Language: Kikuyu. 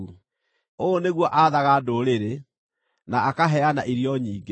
Ũũ nĩguo aathaga ndũrĩrĩ na akaheana irio nyingĩ.